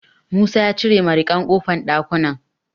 Musa ya cire mariƙan ƙofar ɗakunan.